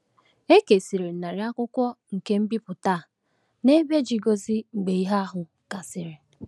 E kesara narị akwụkwọ nke mbipụta a n’ebe Gizo mgbe ihe ahụ gasịrị.